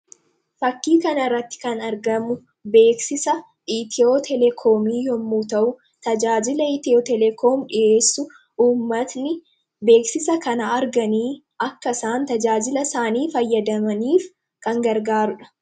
Fakkii kana irratti kan argamu, beeksisa Ithiyootelekomii yemmuu ta'u, tajaajila itiyootelekoomii dhiheessu uummanni beeksisa kana arganii akka isaan tajaajila isaanii fayyadamaniif kan gargaarudha.